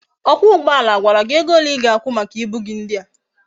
Okwa ugboala agwara gi ego ole I ga akwu maka ibu gi ndia?